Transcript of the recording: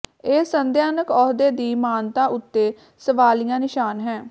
ਇਹ ਸੰਵਿਧਾਨਕ ਅਹੁਦੇ ਦੀ ਮਾਨਤਾ ਉੱਤੇ ਸਵਾਲੀਆ ਨਿਸ਼ਾਨ ਹੈ